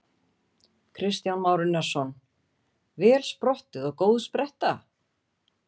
Kristján Már Unnarsson: Vel sprottið og góð spretta?